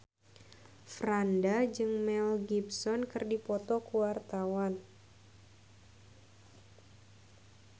Franda jeung Mel Gibson keur dipoto ku wartawan